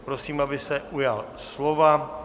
Prosím, aby se ujal slova.